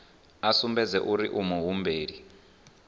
a sumbedze uri u muhumbeli